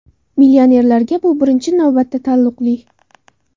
Millionerlarga bu birinchi navbatda taalluqli.